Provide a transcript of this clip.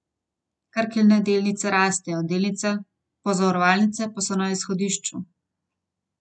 Krkine delnice rastejo, delnice pozavarovalnice pa so na izhodišču.